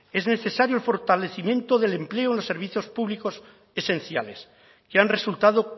es necesario el fortalecimiento del empleo en los servicios públicos esenciales que han resultado